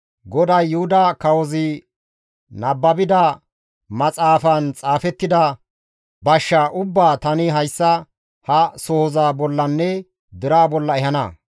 ‹GODAY Yuhuda kawozi nababida maxaafaan xaafettida bashshaa ubbaa tani hayssa ha sohoza bollanne deraa bolla ehana.